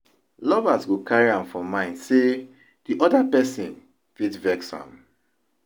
Lovers go carry am for mind sey di oda person fit vex am